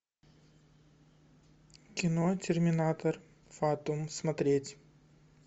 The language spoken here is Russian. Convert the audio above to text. кино терминатор фатум смотреть